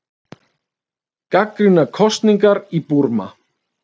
Gagnrýna kosningar í Búrma